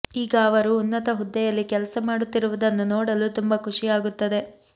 ಈಗ ಅವರು ಉನ್ನತ ಹುದ್ದೆಯಲ್ಲಿ ಕೆಲಸ ಮಾಡುತ್ತಿರುವುದನ್ನು ನೋಡಲು ತುಂಬ ಖುಷಿ ಆಗುತ್ತದೆ